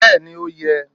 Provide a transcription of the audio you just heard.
bẹẹni o yẹ